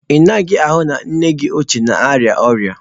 Ị naghị ahụ na nne gị ochie na-arịa ọrịa?